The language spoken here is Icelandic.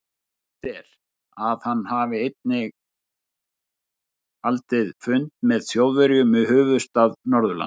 Sagt er, að hann hafi einnig haldið fund með Þjóðverjum í höfuðstað Norðurlands.